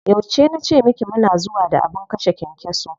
Yauce na ce miki mu na zuwa da abin kashe kyankyaso?